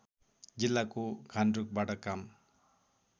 जिल्लाको घान्द्रुकबाट काम